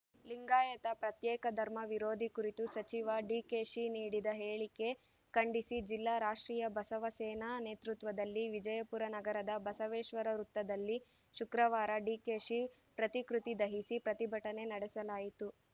ಲಿಂಗಾಯತ ಪ್ರತ್ಯೇಕ ಧರ್ಮ ವಿರೋಧಿ ಕುರಿತು ಸಚಿವ ಡಿಕೆಶಿ ನೀಡಿದ ಹೇಳಿಕೆ ಖಂಡಿಸಿ ಜಿಲ್ಲಾ ರಾಷ್ಟ್ರೀಯ ಬಸವ ಸೇನಾ ನೕತೃತ್ವದಲ್ಲಿ ವಿಜಯಪುರ ನಗರದ ಬಸವೇಶ್ವರ ವೃತ್ತದಲ್ಲಿ ಶುಕ್ರವಾರ ಡಿಕೆಶಿ ಪ್ರತಿಕೃತಿ ದಹಿಸಿ ಪ್ರತಿಭಟನೆ ನಡೆಸಲಾಯಿತು